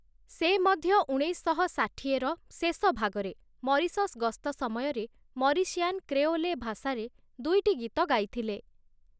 ସେ ମଧ୍ୟ ଉଣେଇଶଶହ ଷାଠିଏର ଶେଷ ଭାଗରେ ମରିସସ ଗସ୍ତ ସମୟରେ ମରିସିଆନ୍‌ କ୍ରେଓଲେ ଭାଷାରେ ଦୁଇଟି ଗୀତ ଗାଇଥିଲେ ।